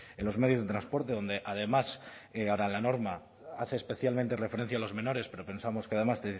en los medios de transporte donde además ahora la norma hace especialmente referencia a los menores pero pensamos que además